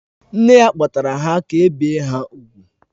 Nne ya kpọtara ha ka e bie ha úgwù